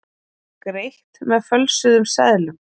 Greitt með fölsuðum seðlum